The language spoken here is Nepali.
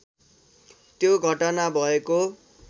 त्यो घटना भएको